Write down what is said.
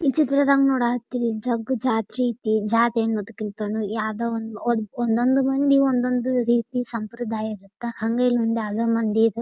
ಈ ಚಿತ್ರದಾಗ ನೋಡ ಹತ್ತೀನಿ ಜಗ್ ಜಾತ್ರಿ ಅಯ್ತಿ ಜಾತ್ರಿ ಏನ್ ಗೊತ್ತಾ ಒಂದೊಂದ್ ಮಂದಿ ಒಂದೊಂದ್ ಸಂಪ್ರದಾಯ ಇರತ್ತ.